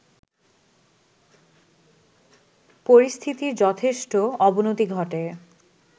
পরিস্থিতির যথেষ্ট অবনতি ঘটে